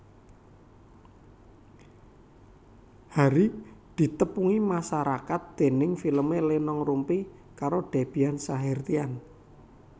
Harry ditepungi masarakat déning filmé Lenong Rumpi karo Debby Sahertian